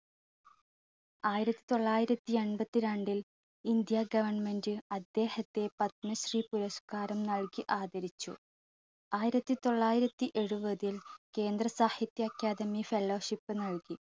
ആയിരത്തി തൊള്ളായിരത്തി അൻപത്തി രണ്ടിൽ ഇന്ത്യ government അദ്ദേഹത്തെ പത്മശ്രീ പുരസ്കാരം നൽകി ആദരിച്ചു. ആയിരത്തി തൊള്ളായിരത്തി എഴുപതിൽ കേന്ദ്ര സാഹിത്യ academy fellowship നൽകി